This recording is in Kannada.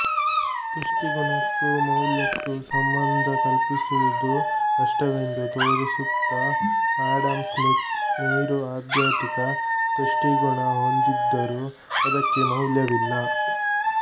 ತುಷ್ಟಿಗುಣಕ್ಕೂ ಮೌಲ್ಯಕ್ಕೂ ಸಂಬಂಧ ಕಲ್ಪಿಸುವುದು ಕಷ್ಟವೆಂದು ತೋರಿಸುತ್ತ ಆಡಮ್ ಸ್ಮಿತ್ ನೀರು ಅತ್ಯಧಿಕ ತುಷ್ಟಿಗುಣ ಹೊಂದಿದ್ದರೂ ಅದಕ್ಕೆ ಮೌಲ್ಯವಿಲ್ಲ